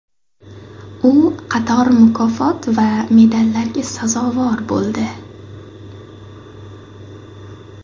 U qator mukofot va medallarga sazovor bo‘ldi.